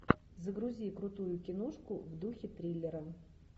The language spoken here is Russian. загрузи крутую киношку в духе триллера